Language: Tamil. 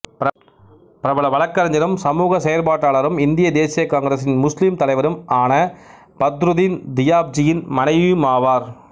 பிரபல வழக்கறிஞரும் சமூக செயற்பாட்டாளரும் இந்திய தேசிய காங்கிரசின் முஸ்லிம் தலைவரும் ஆன பத்ருதின் தியாப்ஜியின் மனைவியுமாவார்